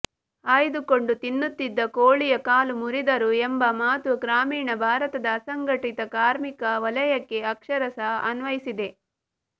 ಆಯ್ದುಕೊಂಡು ತಿನ್ನುತ್ತಿದ್ದ ಕೋಳಿಯ ಕಾಲು ಮುರಿದರು ಎಂಬ ಮಾತು ಗ್ರಾಮೀಣ ಭಾರತದ ಅಸಂಘಟಿತ ಕಾರ್ಮಿಕ ವಲಯಕ್ಕೆ ಅಕ್ಷರಶಃ ಅನ್ವಯಿಸಿದೆ